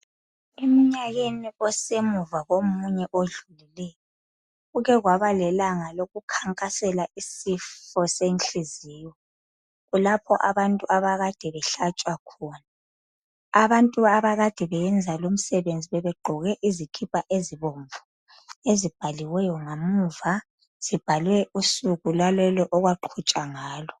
Eminyakeni osemuva komunye odlulileyo kukekwabalelanga lokukhankasela isifo senhliziyo kulapho abantu akade behlatshwa khona. Abantu akade beyenza lumsebenzi bebegqoke izikipa ezibomvu ezibhaliweyo ngamuva zibhalwe usuku okwaqhutshwa ngalo.